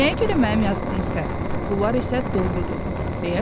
Nəyə görə mənim yazdığım səhv, bunlar isə doğrudur?